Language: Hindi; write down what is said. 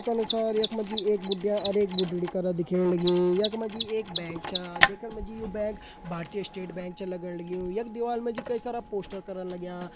ये क अनुसार यखमा जी एक बुडिया और एक भुड्डी करयं दिख्यां लगीं यखमा जी एक बैंक च देखणु में जी यो बैंक भारतीय स्टेट बैंक च लागण लग्युं यख दिवार म जी कई सारा पोस्टर करण लाग्यां।